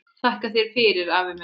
Þakka þér fyrir, afi minn.